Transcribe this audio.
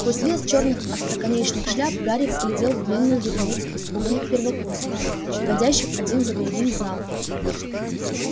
сквозь лес чёрных остроконечных шляп гарри взглядел длинную вереницу испуганных первокурсников входящих один за другим в зал